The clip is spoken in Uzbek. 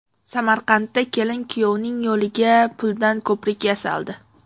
Samarqandda kelin-kuyovning yo‘liga puldan ko‘prik yasaldi .